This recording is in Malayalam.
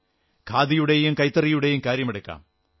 ഖാദിയുടെയും കൈത്തറിയുടെയും കാര്യമെടുക്കാം